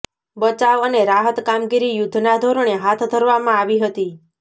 બચાવ અને રાહત કામગીરી યુદ્ધના ધોરણે હાથ ધરવામા ંઆવી હતી